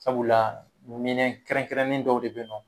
Sabula kɛrɛn-kɛrɛnnen dɔw de bɛ ye nɔ.